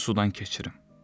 Mən səni sudan keçirim.